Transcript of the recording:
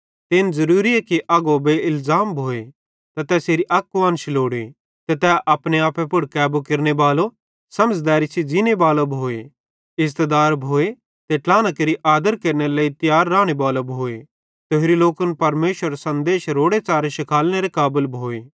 ते इन ज़रूरीए कि अगवो बेइलज़ाम भोए ते तैसेरी अक कुआन्शा लोड़े ते तै अपने आपे पुड़ कैबू केरनेबालो समझ़दैरी सेइं ज़ींनेबालो भोए इज़्ज़तदार भोए ते ट्लाहना केरि आदर केरनेरे लेइ तियार रानेबालो भोए ते होरि लोकन परमेशरेरो सन्देश रोड़े च़ारे शिखालनेरे काबल भोए